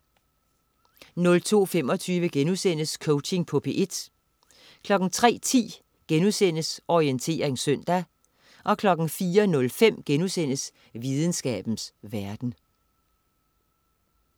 02.25 Coaching på P1* 03.10 Orientering søndag* 04.05 Videnskabens verden*